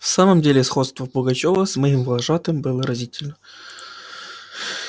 в самом деле сходство пугачёва с моим вожатым было разительно